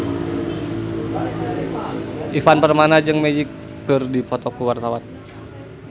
Ivan Permana jeung Magic keur dipoto ku wartawan